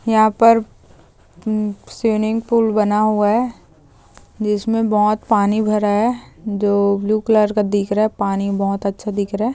यहा पर swimming pool बना हुआ है जिसमे बोहत पानी भारा है जो ब्लू कलर का दिख रहा है पानी बहुत अच्छा दिख रहा है.